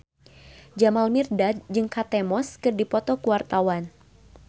Jamal Mirdad jeung Kate Moss keur dipoto ku wartawan